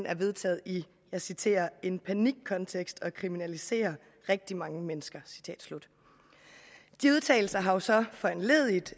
er vedtaget og jeg citerer i en panikkontekst og kriminaliserer rigtig mange mennesker de udtalelser har jo så foranlediget